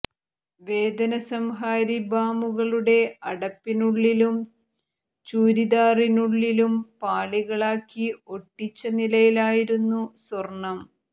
വേദനസംഹാരി ബാമുകളുടെ അടപ്പിനുള്ളിലും ചൂരിദാറിനുള്ളിലും പാളികളാക്കി ഒട്ടിച്ച നിലയിലായിരുന്നു സ്വർണം